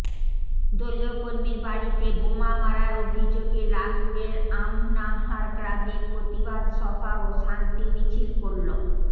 দলীয় কর্মীর বাড়িতে বোমা মারার অভিযোগে লাভপুরের আমনাহার গ্রামে প্রতিবাদ সভা ও শান্তি মিছিল করল